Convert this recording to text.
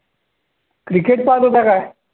Cricket पाहतं होता काय?